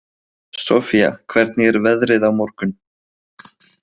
Sofía, hvernig er veðrið á morgun?